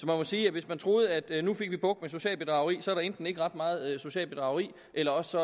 må sige at hvis man troede at vi nu fik bugt med socialt bedrageri så er der enten ikke ret meget socialt bedrageri eller også